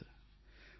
जब तक जाति न जात